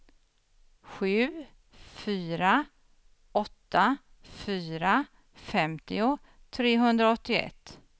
sju fyra åtta fyra femtio trehundraåttioett